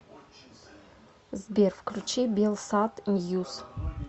сбер включи белсат ньюс